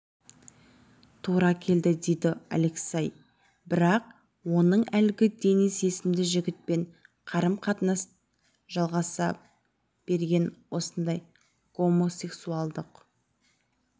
тура келді дейді алексей бірақ оның әлгі денис есімді жігітпен қарым-қатынасы жалғаса берген осындай гомосексуалдық